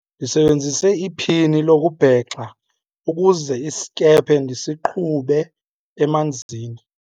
ndisebenzise iphini lokubhexa ukuze isikhephe ndisiqhube emanzini